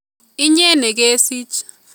Inye nekesich